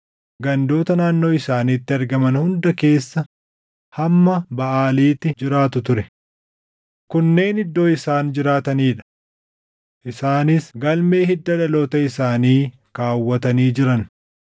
gandoota naannoo isaaniitti argaman hunda keessa hamma Baʼaaliitti jiraatu ture. Kunneen iddoo isaan jiraatanii dha. Isaanis galmee hidda dhaloota isaanii kaawwatanii jiran.